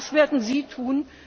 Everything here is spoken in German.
Was werden Sie